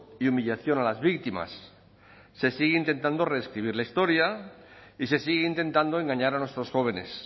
y humillación a las víctimas se sigue intentando reescribir la historia y se sigue intentando engañar a nuestros jóvenes